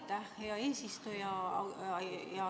Aitäh, hea eesistuja!